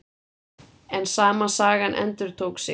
En sama sagan endurtók sig.